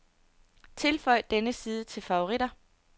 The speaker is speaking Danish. Tilføj denne side til favoritter.